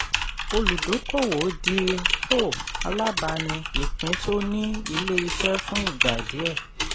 olùdókòwò di um alábàání ìpín tó ni ilé iṣẹ́ fún ìgbà díẹ̀.